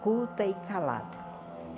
Culta e calada.